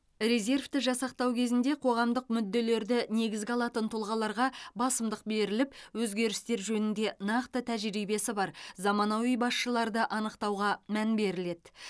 резервті жасақтау кезінде қоғамдық мүдделерді негізге алатын тұлғаларға басымдық беріліп өзгерістер жөнінде нақты тәжірибесі бар заманауи басшыларды анықтауға мән беріледі